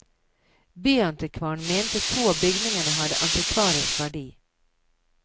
Byantikvaren mente to av bygningene hadde antikvarisk verdi.